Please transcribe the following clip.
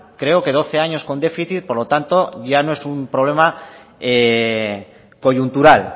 creo que doce años con déficit por lo tanto ya no es un problema coyuntural